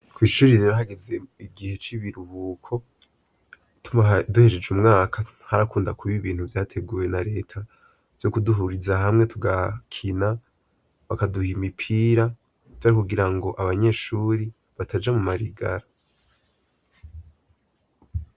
Kw'ishuri rerahageze igihe c'ibiruhuko tuma duhesheje umwaka ntarakunda kuba ibintu vyateguye na leta vyo kuduhuriza hamwe tugakina bakaduha imipira tuari kugira ngo abanyeshuri bataja mu marigara.